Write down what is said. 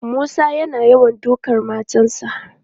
Musa yana yawan dukan matarsa.